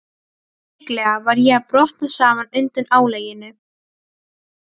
Líklega var ég að brotna saman undan álaginu.